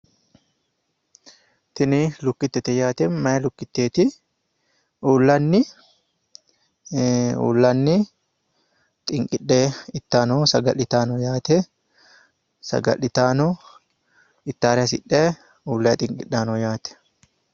Tini lukkittete yaate. Meya lukkitteeti. Uullanni xinqidhe ittayi no. Saga'litayi no yaate. Saga'litayi no. Ittaare hasidhayi uullayi xinqidhayi no yaate.